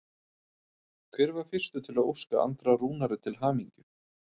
Hver var fyrstur til að óska Andra Rúnari til hamingju?